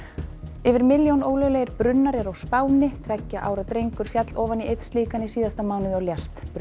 yfir milljón ólöglegir brunnar eru á Spáni tveggja ára drengur féll ofan í einn slíkan í síðasta mánuði og lést